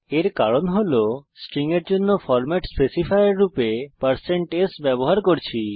এর কারণ হল আমরা স্ট্রিং এর জন্য ফরম্যাট স্পেসিফায়ার রূপে160s ব্যবহার করেছি